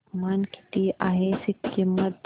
तापमान किती आहे सिक्किम मध्ये